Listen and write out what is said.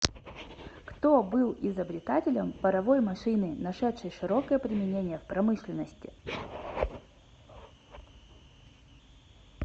кто был изобретателем паровой машины нашедшей широкое применение в промышленности